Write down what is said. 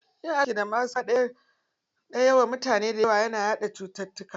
Yin aski da maʼaska ɗaya wa mutane dayawa na iya yaɗa cututtuka.